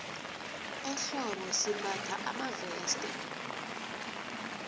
ehlobo simbatha amaveste